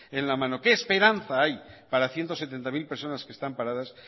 en la mano qué esperanza hay para ciento setenta mil personas que están paradas